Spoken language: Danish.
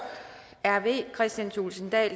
kristian thulesen dahl